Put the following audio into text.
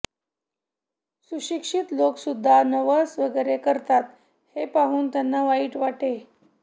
सुशिक्षित लोकसुद्धा नवस वगैरे करतात हे पाहून त्यांना वाईट वाटे